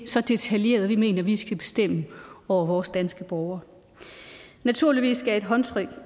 så detaljeret vi mener at vi skal bestemme over vores danske borgere naturligvis skal et håndtryk